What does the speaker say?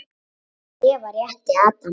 Eva rétti Adam.